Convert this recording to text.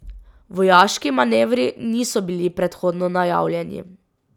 Vojaški manevri niso bili predhodno najavljeni.